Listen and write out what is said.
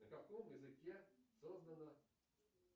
на каком языке создано